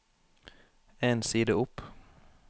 En side opp